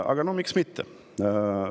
Aga no miks mitte?